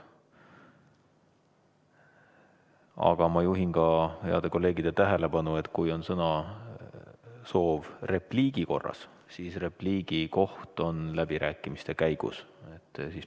Aga ma juhin kõigi heade kolleegide tähelepanu sellele, et kui soovitakse sõna võtta repliigi korras, siis repliigi koht on läbirääkimiste ajal.